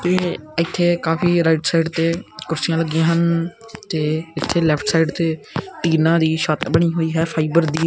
ਤੇ ਇੱਥੇ ਕਾਫੀ ਰਾਈਟ ਸਾਈਡ ਤੇ ਕੁਰਸੀਆਂ ਲੱਗੀਆਂ ਹਨ ਤੇ ਇੱਥੇ ਲੈਫਟ ਸਾਈਡ ਤੇ ਟੀਨਾ ਦੀ ਛੱਤ ਬਣੀ ਹੋਈ ਹੈ ਫਾਈਬਰ ਦੀ।